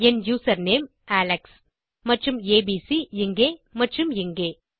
என் username Alex மற்றும் ABC இங்கே மற்றும் இங்கே